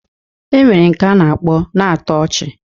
E nwere nke a na-akpọ na-atọ ọchị